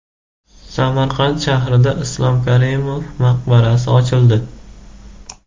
Samarqand shahrida Islom Karimov maqbarasi ochildi.